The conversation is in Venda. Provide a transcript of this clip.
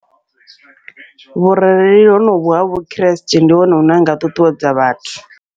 Vhurereli honovhu ha vhukriste ndi hone hune ha nga ṱuṱuwedza vhathu.